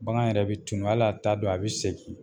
Bagan yɛrɛ bɛ tunun hal'a t'a don a bɛ segin.